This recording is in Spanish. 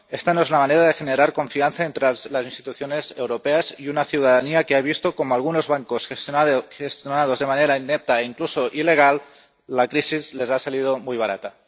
Esta no es la manera de generar confianza entre las instituciones europeas y una ciudadanía que ha visto cómo a algunos bancos, gestionados de manera inepta e incluso ilegal, la crisis les ha salido muy barata.